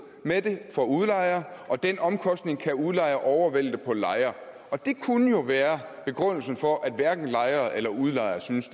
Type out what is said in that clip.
med det for udlejeren og den omkostning kan udlejeren overvælte på lejeren og det kunne jo være begrundelsen for at hverken lejere eller udlejere synes